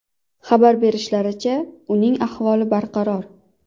Xabar berishlaricha, uning ahvoli barqaror.